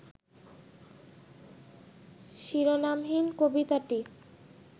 শিরোনামহীন কবিতাটি